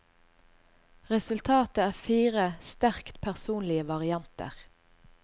Resultatet er fire sterkt personlige varianter.